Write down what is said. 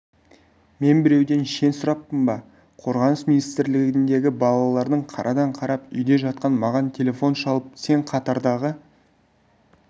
мен біреуден шен сұраппын ба қорғаныс министрлігіндегі балалардың қарадан-қарап үйде жатқан маған телефон шалып сен қатардағы